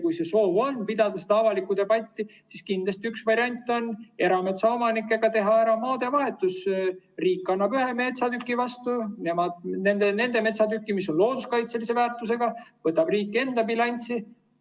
Kui on soov pidada avalikku debatti, siis kindlasti üks variante on teha erametsaomanikega ära maadevahetus: riik annab ühe metsatüki vastu ja nende metsatüki, mis on looduskaitselise väärtusega, võtab riik enda bilanssi.